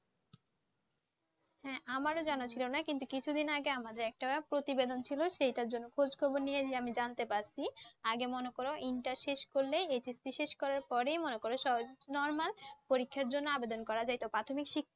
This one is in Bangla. হ্যাঁ আমারও জানা ছিল না কিন্তু কিছুদিন আগে আমাদের একটা প্রতিবেদন ছিল সেটার জন্য খোঁজ খবর নিয়ে আমি জানতে পারছি আগে মনে কর ইন্টার শেষ করলেই HSC শেষ করার পরেই মনে করো স্ব Normal পরীক্ষার জন্য আবেদন করা যাইতো প্রাথমিক